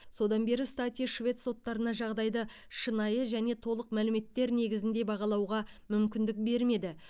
содан бері стати швед соттарына жағдайды шынайы және толық мәліметтер негізінде бағалауға мүмкіндік бермеді